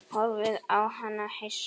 Horfði á hana hissa.